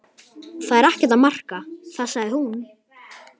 Það er ekkert að marka það sagði hún.